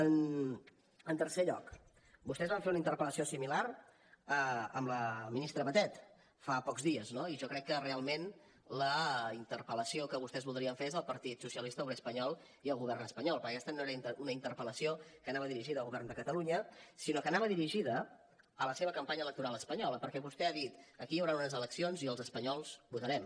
en tercer lloc vostès van fer una interpel·lació similar amb la ministra batet fa pocs dies no i jo crec que realment la interpel·lació que vostès voldrien fer és al partit socialista obrer espanyol i al govern espanyol perquè aquesta no era una interpel·lació que anava dirigida al govern de catalunya sinó que anava dirigida a la seva campanya electoral espanyola perquè vostè ha dit aquí hi hauran unes eleccions i els espanyols votarem